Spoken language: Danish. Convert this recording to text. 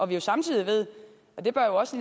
ved samtidig og det bør jo også